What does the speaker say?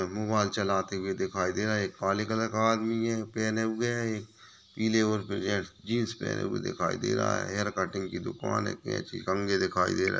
Mobile चलाते हुए दिखाई दे रहे है एक काले कलर का आदमी है पेहने हुए है एक पीले और रेड जींस पहने हुए दिखाई दे रहा है हेयर कटिंग की दुकान है कैंची कंघे दिखाई दे रहे है।